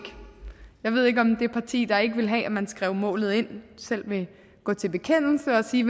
jeg ved ikke om det parti der ikke ville have at man skrev målet ind selv vil gå til bekendelse og sige